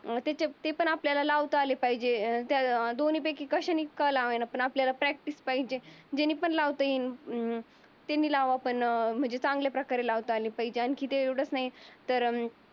त्याचे ते पण आपल्याला लावता आले पाहिजे. त्या दोन्ही पैकी का लावेना आपल्याला प्रॅक्टिस पाहिजे. जाने पण लावता येईल. अं त्याने लावतात पण चांगल्या प्रकारे लावता आली पाहिजे. आणखी तर